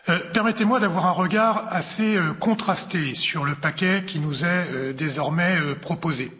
Permettez moi d'avoir un regard assez contrasté sur le paquet qui nous est désormais proposé.